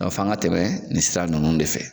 f'an ka tɛmɛ nin sira ninnu de fɛ.